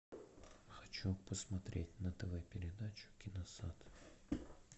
хочу посмотреть на тв передачу киносад